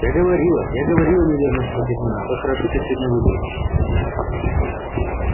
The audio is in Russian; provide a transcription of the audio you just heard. я говорила я говорила неуверенно начала гермиона как хорошо ты сегодня выглядишь